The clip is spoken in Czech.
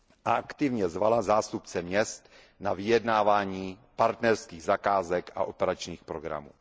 a aktivně zvala zástupce měst na vyjednávání partnerských zakázek a operačních programů.